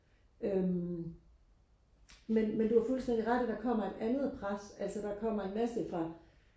øhm men men du har fuldstændig ret i der kommer et andet pres altså der kommer en masse fra